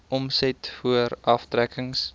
omset voor aftrekkings